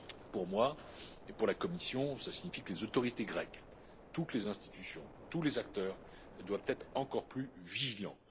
Pour moi et pour la Commission, cela signifie que les autorités grecques, toutes les institutions, tous les acteurs doivent être encore plus vigilants.